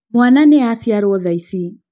Mwana nĩaciarwo thaici